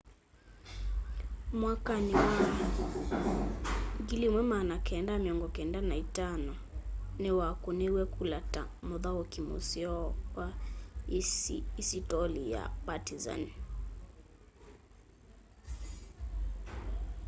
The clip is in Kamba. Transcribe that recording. mwakanĩ wa 1995 nĩwakũnĩiwe kũla ta mũthaũkĩ mũseo wa isitoli ya partĩzan